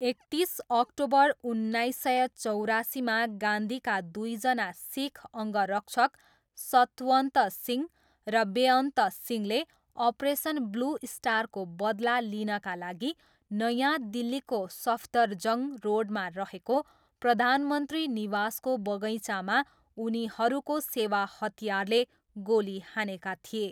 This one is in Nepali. एकतिस अक्टोबर उन्नाइस सय चौरासीमा गान्धीका दुईजना सिख अङ्गरक्षक सतवन्त सिंह र बेअन्त सिंहले अपरेसन ब्लू स्टारको बदला लिनाका लागि नयाँ दिल्लीको सफदरजङ्ग रोडमा रहेको प्रधानमन्त्री निवासको बगैँचामा उनीहरूको सेवा हतियारले गोली हानेका थिए।